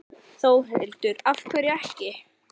Þórhildur: Af hverju ekki?